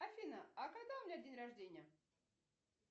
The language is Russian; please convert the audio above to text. афина а когда у меня день рождения